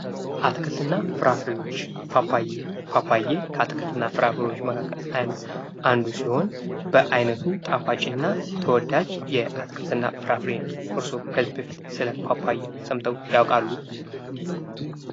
አትክልት እና ፍራፍሬዎች ፓፓዬ ፓፓዬ ከአትክልት እና ፍራፍሬዎች መካከል አንዱ ሲሆን በአይነቱም ጣፋጭ እና ተወዳጅ የአትክልት እና ፍራፍሬ ነው። እርሶ ከዚህ በፊት ስለ ፓፓዬ ሰምተው ያውቃሉ?